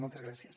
moltes gràcies